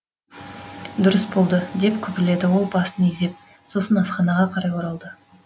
дұрыс болды деп күбірледі ол басын изеп сосын асханаға қарай оралды